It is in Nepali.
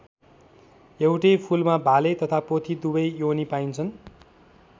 एउटै फूलमा भाले तथा पोथी दुवै योनी पाइन्छन्।